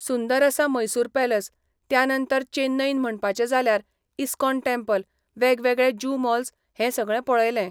सुंदर आसा मैसूर पॅलस त्या नंतर चेन्नईन म्हणपाचें जाल्यार इस्कॉन टॅम्पल वेगवेगळे जू मॉल्स हें सगळें पळयलें.